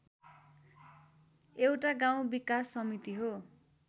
एउटा गाउँ विकास समिति हो